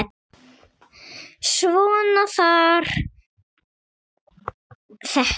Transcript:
Svona var þetta.